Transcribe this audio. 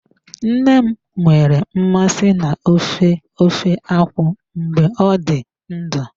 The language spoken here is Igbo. Nna m nwere mmasị na ofe ofe akwụ mgbe ọ dị ndụ.